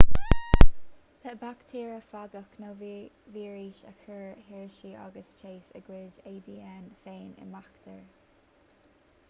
le baictéarafagaigh nó víris a chuir hershey agus chase a gcuid adn féin i mbaictéar